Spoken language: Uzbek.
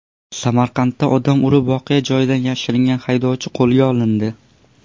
Samarqandda odam urib voqea joyidan yashiringan haydovchi qo‘lga olindi.